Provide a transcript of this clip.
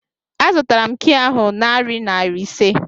A zụtara m kịị ahụ narị naira ise